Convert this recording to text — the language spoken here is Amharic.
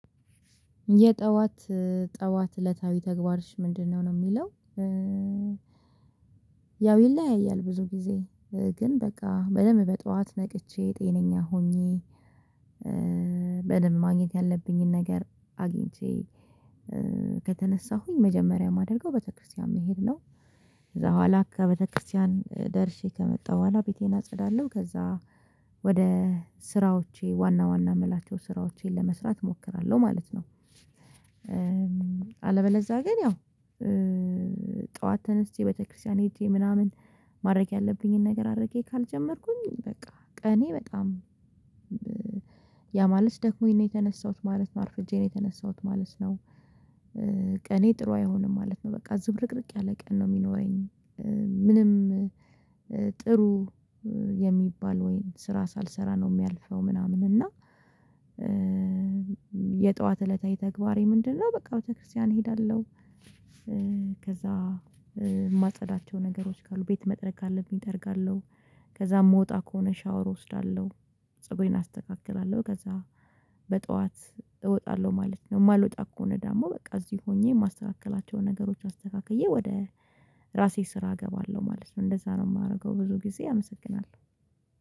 የጠዋት ጠዋት እለታዊ ተግባርሽ ምንድነው ነው? ለሚለው ያው ይለያያል ብዙ ጊዜ ግን በቃ በደንብ በጧት ነቅቼ ጤነኛ ሆኜ በደንብ ማግኘት ያለብኝን ነገር አግኝቼ ከተነሳሁኝ መጀመሪያ የማደርገው ቤተክርስቲያን መሄድ ነው። ከዛ በኋላ ከቤተክርስቲያን ደርሼ ከመጣሁ በኋላ ቤቴን አጸዳለሁ ከዛ ወደ ስራዎቼ ዋና ዋና የምላቸው ስራዎቼን ለመስራት እሞክራለሁ ማለት ነው። አለበለዛ ግን ያው ጠዋት ተነስቼ ቤተክርስቲያን ሄጄ ምናምን ማድረግ ያለብኝን ነገር አድርጌ ካልጀመርኩኝ በቃ ቀኔ በጣም ደክሞኝ የተነሳሁት ማለት ነው። አርፍጄ ነው የተነሳሁት ማለት ነው። ቀኔ ጥሩ አይሆንም ማለት ነው በቃ ዝብርቅርቅ ያለ ቀን ነው የሚኖረኝ። ምንም ጥሩ የሚባል ወይም ስራ ሳልሰራ ነው የሚያልፈው ምናምን እና የጠዋት እለታዊ ተግባሬ ምንድነው? በቃ ቤተክርስቲያን እሄዳለሁ። ከዛ የማጸዳቸው ነገሮች ካሉ ቤት መጥረግ ካለብኝ እጠርጋለሁ ከዛ ምወጣ ከሆነ ሻወር እወስዳለሁ። ፀጉሬን አስተካክላለሁ ከዛ በጧት እወጣለሁ ማለት ነው። የማልወጣ እማልወጣ ከሆነ ደግሞ በቃ እዚህ ሆኜ የማስተካክላቸዉን ነገሮች አስተካክዬ ወደ ራሴ ስራ እገባለሁ ማለት ነው እንደዛ ነው። የማደርገው ብዙ ጊዜ አመሰግናለሁ